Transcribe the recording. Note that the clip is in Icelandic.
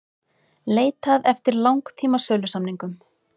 Leitað eftir langtíma sölusamningum